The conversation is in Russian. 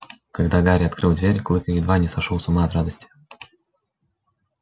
когда гарри открыл дверь клык едва не сошёл с ума от радости